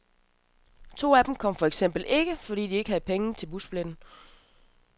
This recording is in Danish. To af dem kom for eksempel ikke, fordi de ikke havde penge til busbilletten.